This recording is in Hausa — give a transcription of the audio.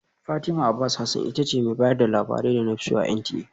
Fatima Abbas Hasan ita ce mai bayar da labarai da na fi so a NTA